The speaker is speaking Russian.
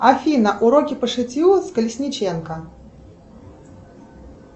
афина уроки по шитью с колесниченко